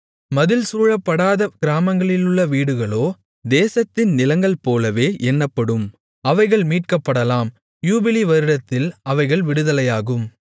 மதில்சூழப்படாத கிராமங்களிலுள்ள வீடுகளோ தேசத்தின் நிலங்கள்போலவே எண்ணப்படும் அவைகள் மீட்கப்படலாம் யூபிலி வருடத்தில் அவைகள் விடுதலையாகும்